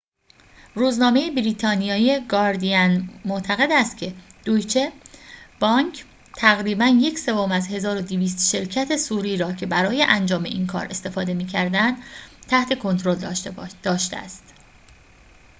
روزنامه بریتانیایی گاردین معتقد است که دویچه بانک تقریباً یک سوم از ۱۲۰۰ شرکت صوری را که برای انجام این کار استفاده می‌کردند تحت کنترل داشته است